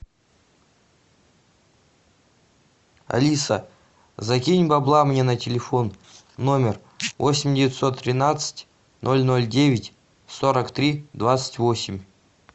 алиса закинь бабла мне на телефон номер восемь девятьсот тринадцать ноль ноль девять сорок три двадцать восемь